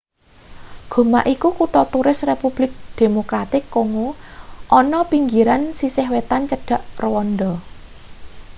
goma iku kutha turis republik demokratik kongo ana pinggiran sisih wetan cedhak rwanda